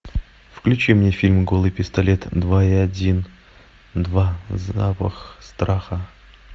включи мне фильм голый пистолет два и один два запах страха